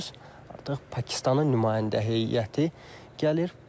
Artıq Pakistanın nümayəndə heyəti gəlir.